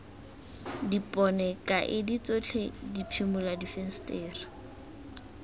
dipone kaedi tsotlhe diphimola difensetere